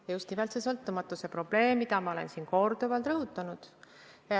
Ja just nimelt see sõltumatuse probleem, mida ma olen siin korduvalt rõhutanud.